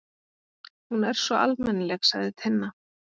Hún er svo almennileg, sagði Tinna.